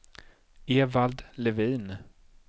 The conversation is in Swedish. Evald Levin